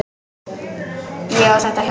Ég á þetta hjól!